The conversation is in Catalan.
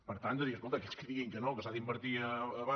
per tant de dir escolta aquells que diguin que no que s’ha d’invertir a baix